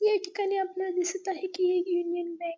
या ठिकाणी आपल्याला दिसत आहे की एक युनियन बँक --